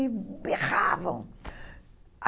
E berravam.